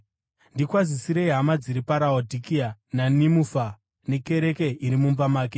Ndikwazisirei hama dziri paRaodhikea, naNimufa nekereke iri mumba make.